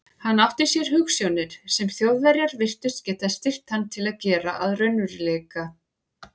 Hann átti sér hugsjónir, sem Þjóðverjar virtust geta styrkt hann til að gera að raunveruleika.